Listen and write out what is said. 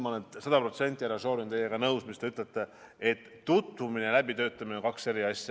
Ma olen sada protsenti, härra Šorin, teiega nõus, et tutvumine ja läbitöötamine on kaks eri asja.